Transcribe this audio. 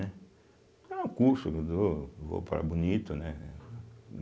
curso que dou, vou para Bonito, né.